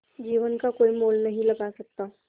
जीवन का कोई मोल नहीं लगा सकता